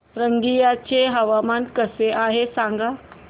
रंगिया चे हवामान कसे आहे सांगा